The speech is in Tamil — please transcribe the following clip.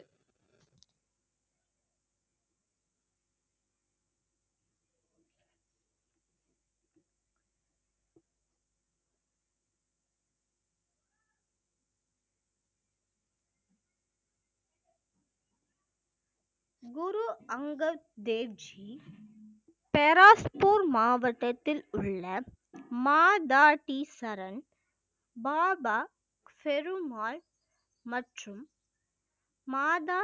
குரு அங்கத் தேவ் ஜி ஃபெராஸ்பூர் மாவட்டத்திலுள்ள மாதா டி சரங் பாபா பெருமால் மற்றும் மாதா